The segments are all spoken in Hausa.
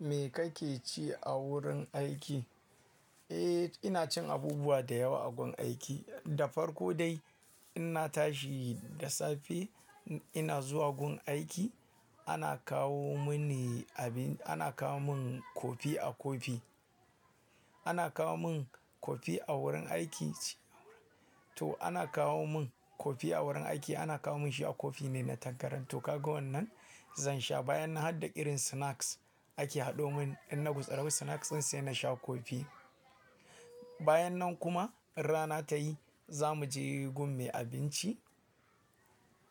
Me kake ci a wurin aiki? Eh, ina cin abubuwa da yawa a gun aiki. Da farko dai inna tashi da safe ina zuwa gun aiki ana kawo mini abin, ana kawo min kofi a kofi. Ana kawo mun kofi a wurin aiki ce. To ana kawo min kofi a wurin aiki, ana kawo mun shi a kofi ne na tangaran. To kaga wannan zan sha bayan nan harda irin snacks ake haɗo mun in na gutsira snacks din sai na sha kofi. Bayan nan kuma in rana ta yi za mu je gun me abinci.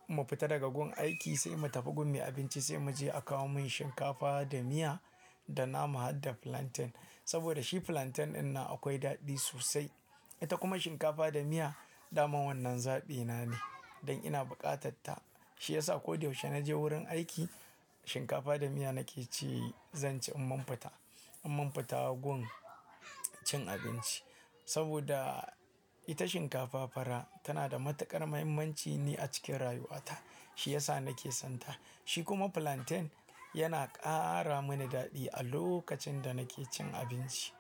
Mu fita daga gun aiki sai mu tafi gun me abinci sai mu je a kawo mun shinkafa da miya da nama haɗda plantain. Saboda shi plantain ɗin nan akwai daɗi sosai. Ita kuma shinkafa da miya daman wannan zaɓi na ne don ina buƙatar ta. Shi yasa ko da yaushe naje wurin aiki shinkafa da miya nake ci zan ci in mun fita, in mun fita gun cin abinci. Saboda ita shinkafa fara tana da matuƙar muhimmanci ne a cikin rayuwa ta. Shi yasa nake son ta. Shi kuma plantain yana ƙara mini daɗi a lokacin da nake cin abinci.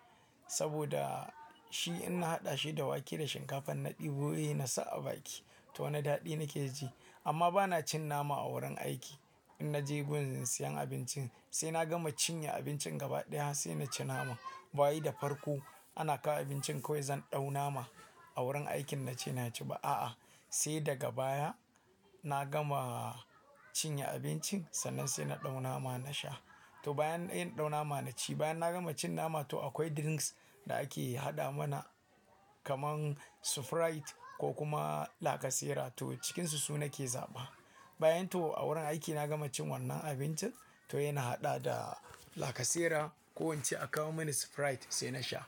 Saboda shi in na haɗa shi da wake da shinkafan na ɗebo, he na sa a baki to wani daɗi nake ji. Amma ba na cin nama a wurin aiki. In naje gun zinsiyan abincin sai na gama cinye abincin gaba ɗaya sai na ci nama. Bawai da farko ana kawo abincin kawai zan ɗau nama a wurin aikin nace, na ci ba a'a. Sai daga baya na gama cinye abincin sannan sai na ɗau nama na sha. To bayan sai in ɗau nama naci, bayan na gama cin nama to akwai drinks da ake haɗa mana kamar sprite ko kuma lacasera to cikinsu su nake zaɓa. Bayan to a wurin aiki na gama cin wannan abincin to sai na haɗa da lacasera ko ince a kawo mini sprite sai na sha.